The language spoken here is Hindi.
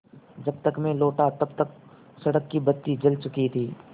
जब तक मैं लौटा तब तक सड़क की बत्ती जल चुकी थी